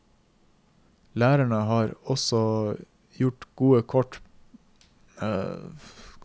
Lærerne har også gode kort på hånden med argumenter om sviktende søking til lærerstudiet og mange ufaglærte lærere.